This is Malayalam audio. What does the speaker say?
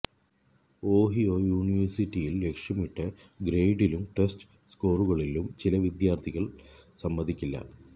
ഓഹിയോ യൂണിവേഴ്സിറ്റിയിൽ ലക്ഷ്യമിട്ട ഗ്രേഡിലും ടെസ്റ്റ് സ്കോറുകളിലും ചില വിദ്യാർത്ഥികൾ സമ്മതിക്കില്ല